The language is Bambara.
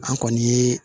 An kɔni ye